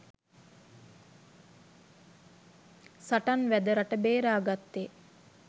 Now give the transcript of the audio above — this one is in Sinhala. සටන් වැද රට බේරාගත්තේ